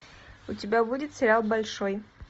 у тебя будет сериал большой